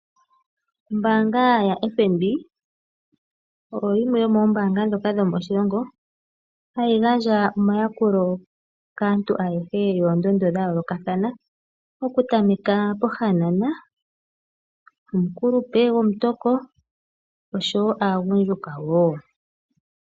Ombaanga yaFNB oyo yimwe yomoombanga dhoka dhomoshilongo hayigandja omayakulo kaantu ayehe yoondondo dhayoolokathana. Okutameka pohanana, omukulupe gomutoko osho woo agundjuka woo.